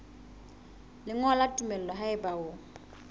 lengolo la tumello haeba o